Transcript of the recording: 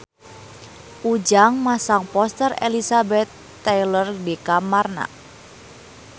Ujang masang poster Elizabeth Taylor di kamarna